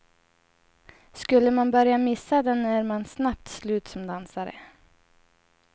Skulle man börja missa den är man snabbt slut som dansare.